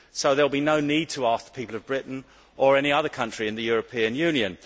So there will be no need to ask the people of Britain, or of any other country in the Europe Union